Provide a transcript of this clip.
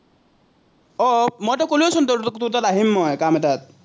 আহ আহ মইতো কলোৱেচোন তোক, তোৰ তাত আহিম কাম এটাত।